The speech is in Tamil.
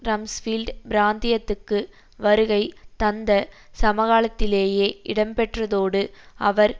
ரம்ஸ்பீல்ட் பிராந்தியத்துக்கு வருகை தந்த சமகாலத்திலேயே இடம்பெற்றதோடு அவர்